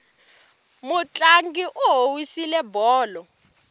mutlangi u howisile bolo